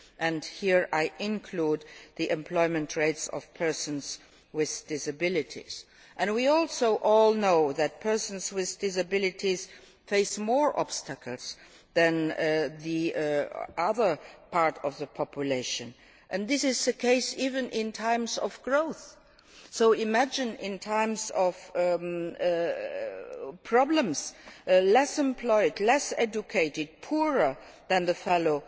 and here I include the employment rates of persons with disabilities. We also all know that persons with disabilities face more obstacles than the rest of the population, and this is the case even in times of growth. So imagine what it is like in times of problems less employed, less educated and poorer than their fellow